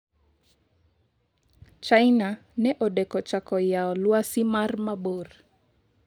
China ne odeko chako yao lwasi mar mabor